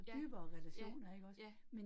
Ja, ja, ja